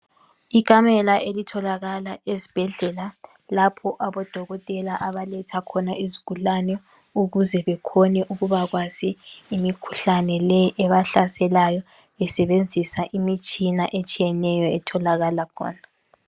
Ikamela elitholakala ezibhedlela lapho abodokotela abaletha khona izigulane ukuze bekhone ukubakwazi imikhuhlane le ebahlaselayo besebenzisa imitshina etshiyeneyo etholakala khona.